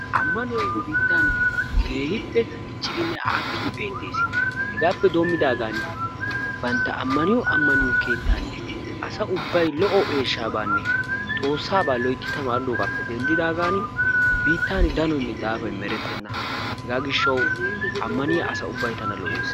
Ammanoyi nu biittan keehippe diccidinne aakkidi beettes. Hegaappe doommidaagan bantta ammaniyo ammaniyo keettan asa ubbayi lo"o eeshshaabaanne xoossaabaa loytti tamaaridoogaappe dendfidaagan biittan danoyinne daafayi merettenna. Hegaa gishshawu ammaniya asa ubbayi tana lo"es.